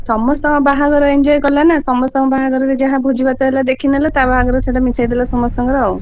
ସମସ୍ତଙ୍କ ବାହାଘର enjoy କଲା ନା ସମସ୍ତଙ୍କ ବାହାଘରରେ ଯାହା ଭୋଜିଭାତ ହେଲା ଦେଖିନେଲା, ତା ବାହାଘରରେ ମିଶେଇଦେଲା ସେଇଟା ସମସ୍ତଙ୍କର ଆଉ।